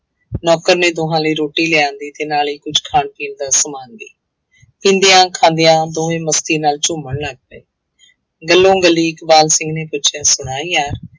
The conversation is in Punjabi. ਨੌਕਰ ਨੇ ਦੋਹਾਂ ਲਈ ਰੋਟੀ ਲਿਆਂਦੀ ਤੇ ਨਾਲ ਹੀ ਕੁੱਛ ਖਾਣ ਪੀਣ ਦਾ ਸਮਾਨ ਵੀ ਪੀਂਦਿਆਂ ਖਾਂਦਿਆਂ ਦੋਵੇਂ ਮਸਤੀ ਨਾਲ ਝੂੰਮਣ ਲੱਗ ਪਏ ਗੱਲੋਂ ਗੱਲੀ ਇਕਬਾਲ ਸਿੰਘ ਨੇ ਪੁੱਛਿਆ ਸੁਣਾ ਯਾਰ,